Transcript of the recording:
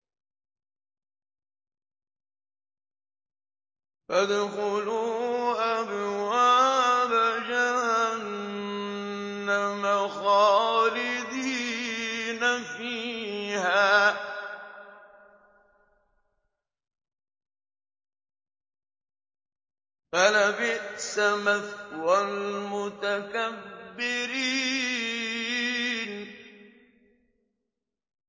فَادْخُلُوا أَبْوَابَ جَهَنَّمَ خَالِدِينَ فِيهَا ۖ فَلَبِئْسَ مَثْوَى الْمُتَكَبِّرِينَ